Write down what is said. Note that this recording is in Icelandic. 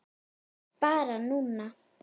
Barn núna.